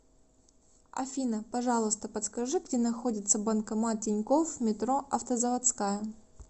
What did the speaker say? афина пожалуйста подскажи где находится банкомат тинькофф метро автозаводская